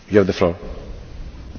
Panie Przewodniczący!